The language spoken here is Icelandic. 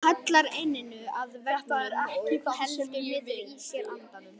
Hallar enninu að veggnum og heldur niðri í sér andanum.